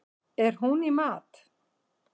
Er hún í mat?